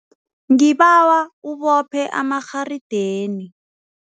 Ngibawa ubophe amarharideni.